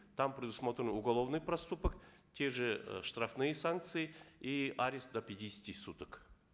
там предусмотрены уголовный проступок те же э штрафные санкции и арест до пятидесяти суток